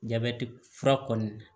Jabɛti fura kɔni